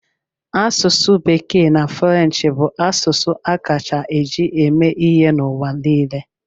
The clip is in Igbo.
Asụsụ Bekee na French bụ asụsụ a kacha eji eme ihe n'ụwa niile.